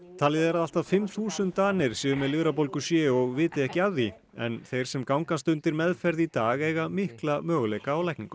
talið er að allt að fimm þúsund Danir séu með lifrarbólgu c og viti ekki af því en þeir sem gangast undir meðferð í dag eiga mikla möguleika á lækningu